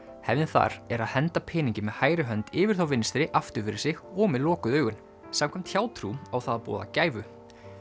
hefðin þar er að henda peningi með hægri hönd yfir þá vinstri aftur fyrir sig og með lokuð augun samkvæmt hjátrú á það að boða gæfu